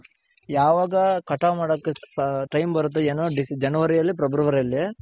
ಯಾವಾಗ ಕಟಾವ್ ಮಾಡಕ್ time ಬರುತ್ತೋ ಏನೋ January ಅಲ್ಲಿ February ಅಲ್ಲಿ.